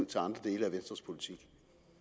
til andre dele af venstres politik